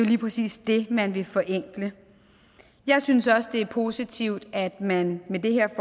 lige præcis det man vil forenkle jeg synes også det er positivt at man med det her